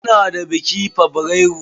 Muna da biki fabrairu.